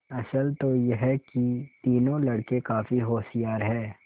असल तो यह कि तीनों लड़के काफी होशियार हैं